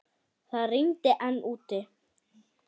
Það rigndi enn úti.